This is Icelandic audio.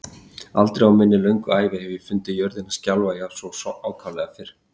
Aldrei á minni löngu ævi hef ég fundið jörðina skjálfa svo ákaflega fyrr